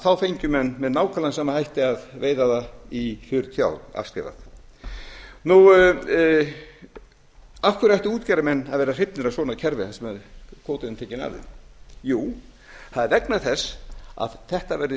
þá fengu menn með nákvæmlega sama hætti að veiða það í fjörutíu ár afskrifað af hverju ættu útgerðarmenn að vera hrifnir af svona kerfi þar sem kvótinn er tekinn af þeim það er vegna þess að þetta verður